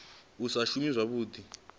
u sa nga shumi zwavhuḓi